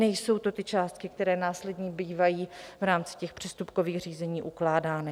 Nejsou to ty částky, které následně bývají v rámci těch přestupkových řízení ukládány.